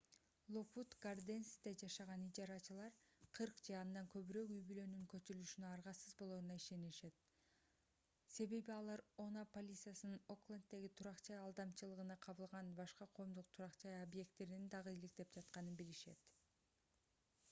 локвуд гарденсьте жашаган ижарачылар 40 же андан көбүрөөк үй-бүлөнүн көчүрүлүшүнө аргасыз болоруна ишенишет себеби алар oha полициясынын окленддеги турак-жай алдамчылыгына кабылган башка коомдук турак-жай объекттерин дагы иликтеп жатканын билишет